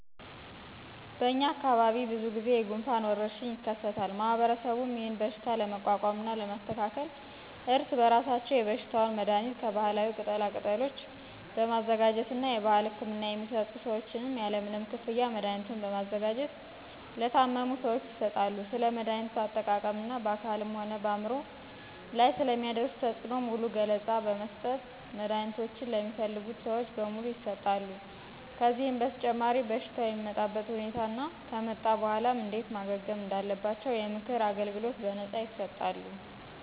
በእኛ አካባቢ ብዙ ጊዜ የጉንፋን ወረርሽኝ የከሰታል ማህበረሰቡም ይህንን በሽታ ለመቋቋምና ለማስተካከል እርስ በራሳቸው የበሽታውን መድሀኒት ከባህላዊ ቅጠላ ቅጠሎች በማዘጋጀት እና የባህል ህክምና የሚሰጡ ሰዎችም ያለምንም ክፍያ መድሀኒቱን በማዘጋጀት ለታመሙ ሰዎች ይሰጣሉ። ስለ መድሀኒቶች አጠቃቀም እና በአካልም ሆነ በአምሮ ላይ ስለሚያደርሱት ተፅእኖ ሙሉ ገለፃ በመስጠት መድሀኒቶችን ለሚፈልጉ ሰዎች በሙሉ ይሠጣሉ። ከዚህም በተጨማሪ በሽታው የሚመጣበትን ሁኔታ እና ከመጣ በኋላም እንዴት ማገገም እንዳለባቸው የምክር አገልግሎት በነፃ ይሰጣሉ።